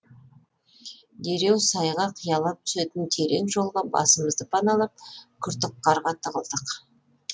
дереу сайға қиялап түсетін терең жолға басымызды паналап күртік қарға тығылдық